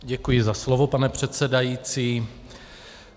Děkuji za slovo, pane předsedající.